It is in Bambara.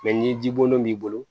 ni ji bolon'i bolo